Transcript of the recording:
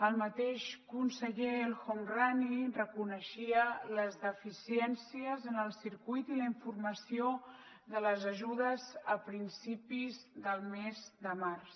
el mateix conseller el homrani reconeixia les deficiències en el circuit i la informació de les ajudes a principis del mes de març